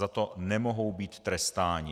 Za to nemohou být trestání.